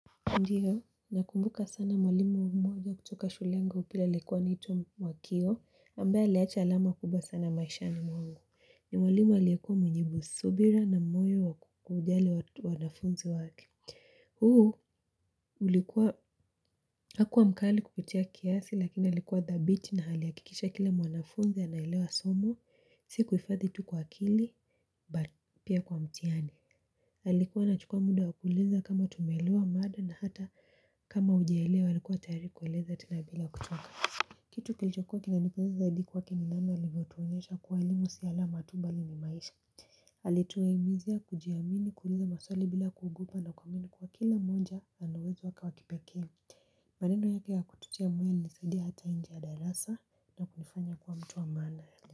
Ndiyo nakumbuka sana mwalimu wangu mmoja kutoka shule yangu ya upili alikuwa anaitwa mwakio ambaye aliacha alama kubwa sana maishani mwangu ni mwalimu aliyekuwa mwenye subira na moyo wa kujali wanafunzi wake huu ulikuwa hakuwa mkali kupitia kiasi lakini alikuwa dhabiti na alihakikisha kila mwanafunzi anaelewa somo sikuhifadhi tu kwa akili but pia kwa mtihani alikuwa anachukua muda wa kuuliza kama tumeelewa mada na hata kama hujaelewa alikuwa tayari kueleza tena bila kuchoka kitu kilichokuwa kinanipendeza zaidi kwake ni namna alivyotuonyesha kuwa elimu si alama tu bali ni maisha alituhimizia kujiamini kuuliza maswali bila kuogopa na kuamini kuwa kila moja ana uwezo wake wa kipekee maneno yake ya kututia mwili ilisaidia hata nje ya darasa na kunifanya kuwa mtu wa maana.